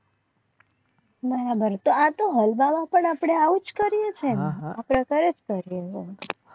બરાબર આ તો આપણા હલવા માં તો ઔજ કરે છે ને અપને ફરેજ કરે.